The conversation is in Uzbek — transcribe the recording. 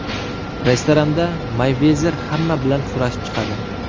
Restoranda Meyvezer hamma bilan so‘rashib chiqadi.